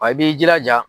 Wa i b'i jilaja